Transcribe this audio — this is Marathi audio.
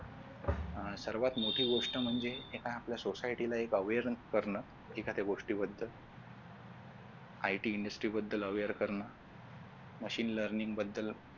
सर्वात मोठी गोष्ट म्हणजे एक आहे आपल्या society ला awareness करण एखाद्या गोष्टीबद्दल ITindustry बद्दल aware करण machine learning बद्दल